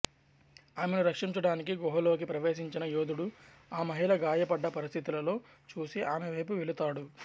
ఆమెను రక్షించడానికి గుహలోకి ప్రవేశించిన యోధుడు ఆ మహిళ గాయపడ్డ పరిస్థితిలో చూసి ఆమె వైపు వెళుతాడు